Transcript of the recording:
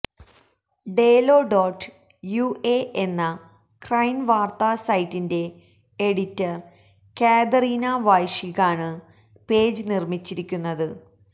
ഡേലോ dot UA എന്ന ഉക്രൈന് വാര്ത്താ സൈറ്റിന്റെ എഡിറ്റര് കാതറീന വെന്ഷികാണ് പേജ് നിര്മിച്ചിരിക്കുന്നത്